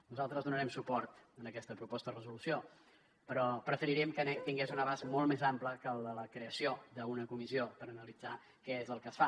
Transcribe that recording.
nosaltres donarem suport a aquesta proposta de resolució però preferiríem que tingués un abast molt més ampli que el de la creació d’una comissió per analitzar què és el que es fa